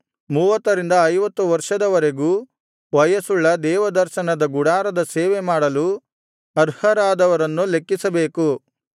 ಮೂವತ್ತರಿಂದ ಐವತ್ತು ವರ್ಷದವರೆಗೂ ವಯಸ್ಸುಳ್ಳ ದೇವದರ್ಶನದ ಗುಡಾರದ ಸೇವೆ ಮಾಡಲು ಅರ್ಹರಾದವರನ್ನು ಲೆಕ್ಕಿಸಬೇಕು